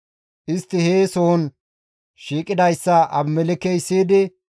Istti he sohon shiiqidayssa Abimelekkey siyidi,